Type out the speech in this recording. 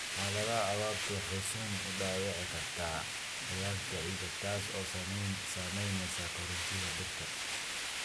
Xaaladaha abaartu waxay si xun u dhaawici kartaa qoyaanka ciidda, taas oo saameynaysa koritaanka dhirta.